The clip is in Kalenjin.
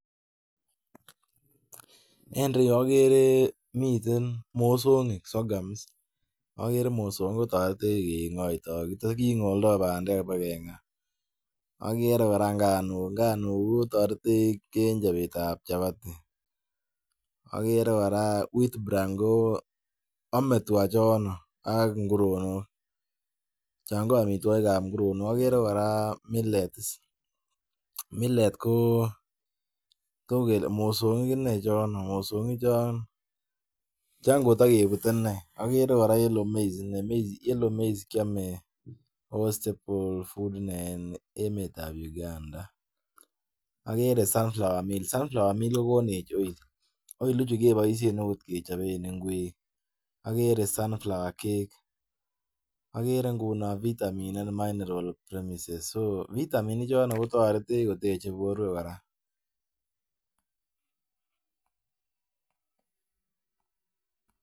En ireyu agere miten mosongik sorghum agere mosongik kotareten kingolda bandek akeba kenga agere kora nganuk kotaretech en chabet ab chabati agere koraa wheat AME tuga choton AG nguronok chon KO amitwagik chebo nguronok kora agere millet ko mosongik inei chon katakebute inei agere kora yellow maize akiame ako stable food en emet ab Uganda agere sunflower meal agechaben oil ak oil ichu kebaishen kechoben ingwek agere vitamins minerals premises vitamin ichoton kotareti koteche borwek koraa